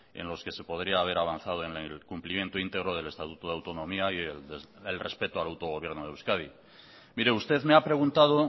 en los que se podría haber avanzado en el cumplimiento íntegro del estatuto de autonomía y el respeto al autogobierno de euskadi mire usted me ha preguntado